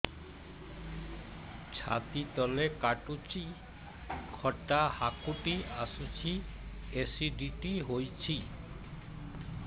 ଛାତି ତଳେ କାଟୁଚି ଖଟା ହାକୁଟି ଆସୁଚି ଏସିଡିଟି ହେଇଚି